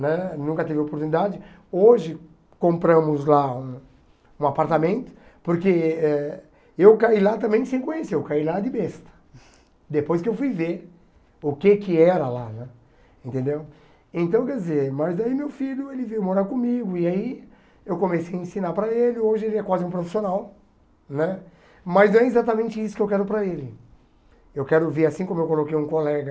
né nunca teve oportunidade hoje compramos lá um um apartamento porque eh eu caí lá também sem conhecer eu caí lá de besta depois que eu fui ver o que que era lá né entendeu então quer dizer mas daí meu filho ele veio morar comigo e aí eu comecei a ensinar para ele hoje ele é quase um profissional né mas é exatamente isso que eu quero para ele eu quero ver assim como eu coloquei um colega